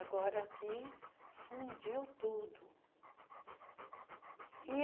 Agora aqui fundiu tudo. ih